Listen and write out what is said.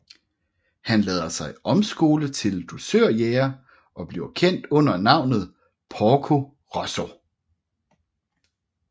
Han lader sig omskole til dusørjæger og bliver kendt under navnet Porco Rosso